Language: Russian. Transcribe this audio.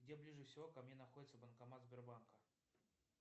где ближе всего ко мне находится банкомат сбербанка